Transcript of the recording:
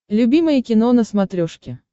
любимое кино на смотрешке